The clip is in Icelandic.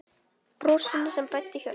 Brosinu sem bræddi hjörtu.